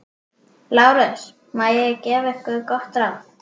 LÁRUS: Má ég gefa yður gott ráð?